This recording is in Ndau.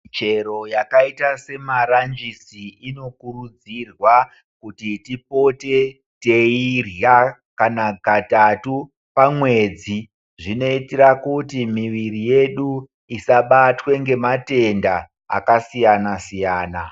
Muchero yakaita semaranjisi inokurudzirwa kuti tipote teirya kana katatu pamwedzi. Zvinoitira kuti miviri yedu isabatwe ngematenda akasiyana siyana .